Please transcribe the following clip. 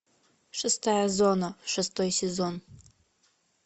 шестая зона шестой сезон